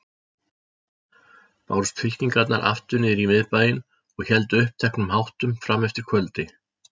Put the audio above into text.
Bárust fylkingarnar aftur niðrí Miðbæinn og héldu uppteknum háttum frameftir kvöldi.